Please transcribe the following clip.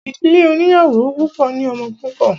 Ìdílé oníyàwó púpọ̀ ní ọmọ púpọ̀.